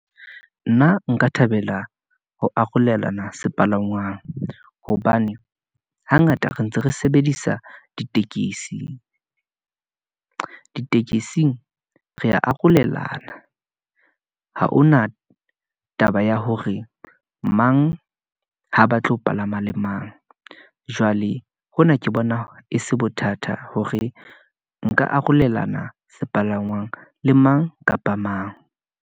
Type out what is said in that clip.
Nna nka thabela ho arolelana sepalangwang, hobane hangata re ntse re sebedisa ditekesi , ditekesing re arolelana , ha hona taba ya hore mang ha ba tlo palama le mang. Jwale hona ke bona e se bothata hore nka arolelana sepalangwang le mang kapa mang.